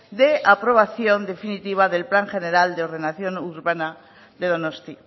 de aprobación definitiva del plan general de ordenación urbana de donosti